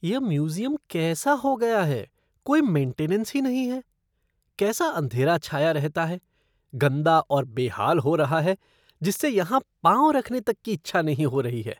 यह म्यूज़ियम कैसा हो गया है, कोई मेंटेनेंस ही नहीं है। कैसा अंधेरा छाया रहता है, गंदा और बेहाल हो रहा है जिससे यहाँ पाँव रखने तक की इच्छा नहीं हो रही है।